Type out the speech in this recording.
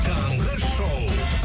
таңғы шоу